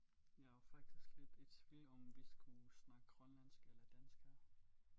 Jeg er faktisk lidt i tvivl om vi skulle snakke grønlandsk eller dansk her